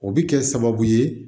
O bɛ kɛ sababu ye